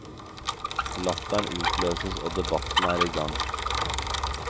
Latteren utløses og debatten er i gang.